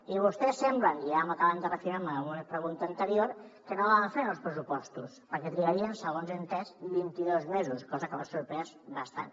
i vostès sembla i ja m’ho acaben de reafirmar amb alguna pregunta anterior que no volen fer nous pressupostos perquè trigarien segons he entès vint i dos mesos cosa que m’ha sorprès bastant